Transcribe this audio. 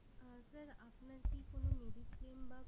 আহ sir আপনার কি কোনো mediclaim বা